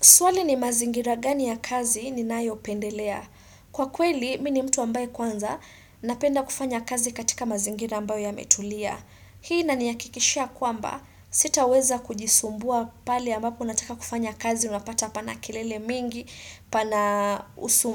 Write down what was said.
Swali ni mazingira gani ya kazi ninayopendelea. Kwa kweli, mi ni mtu ambaye kwanza, napenda kufanya kazi katika mazingira ambayo yametulia. Hii inanihakikishia kwamba, sitaweza kujisumbua pale ambapo nataka kufanya kazi unapata pana kelele mingi, pana